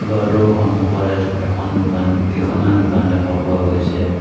ঘৰটোৰ সন্মুখত এঠ এখন দোকান কেইখনমান দোকান দেখা পোৱা গৈছে।